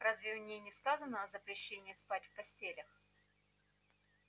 разве в ней не сказано о запрещении спать в постелях